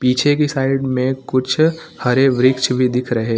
पीछे की साइड में कुछ हरे वृक्ष भी दिख रहे --